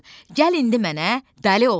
Gəl indi mənə dəli ol.